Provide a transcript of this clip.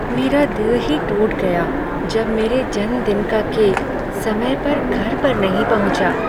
मेरा दिल ही टूट गया जब मेरे जन्मदिन का केक समय पर घर पर नहीं पहुंचा।